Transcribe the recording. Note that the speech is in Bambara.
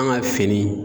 An ka fini